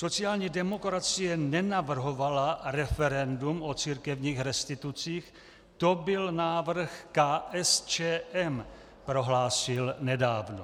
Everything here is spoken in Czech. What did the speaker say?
"Sociální demokracie nenavrhovala referendum o církevních restitucích, to byl návrh KSČM," prohlásil nedávno.